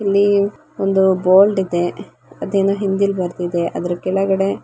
ಇಲ್ಲಿ ಒಂದು ಬೋಲ್ಡ್ ಇದೆ ಅದೇನೋ ಹಿಂದೀಲಿ ಬರ್ದಿದೆ ಅದ್ರು ಕೆಳಗಡೆ --